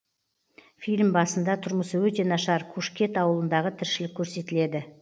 фильм басында тұрмысы өте нашар кушкет ауылындағы тіршілік көрсетіледі